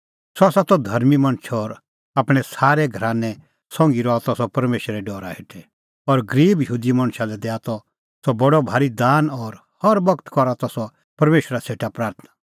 सह त धर्मीं मणछ और आपणैं सारै घरानै संघी रहा त सह परमेशरे डरा हेठै और गरीब यहूदी मणछा लै दैआ त सह बडअ भारी दान और हर बगत करा त सह परमेशरा सेटा प्राथणां